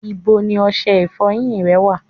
Ibo ni ọṣẹ ìfọyín rẹ wà?